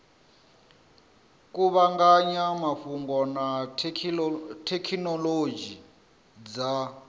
kuvhanganya mafhungo na thekhinolodzhi dza